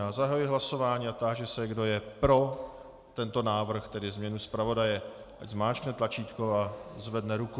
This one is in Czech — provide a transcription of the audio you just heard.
Já zahajuji hlasování a táži se, kdo je pro tento návrh pro změnu zpravodaje, ať zmáčkne tlačítko a zvedne ruku.